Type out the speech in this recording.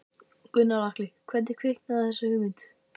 Gunnar Atli: Hvernig kviknaði þessi hugmynd?